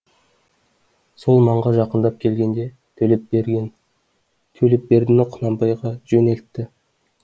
сол маңға жақындап келгенде төлепбердіні құнанбайға жөнелтті